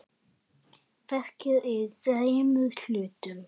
Verkið er í þremur hlutum.